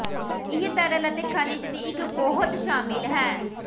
ਇਹ ਤਰਲ ਅਤੇ ਖਣਿਜ ਦੀ ਇੱਕ ਬਹੁਤ ਸ਼ਾਮਿਲ ਹੈ